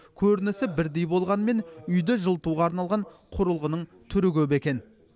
көрінісі бірдей болғанымен үйді жылытуға арналған құрылғының түрі көп екен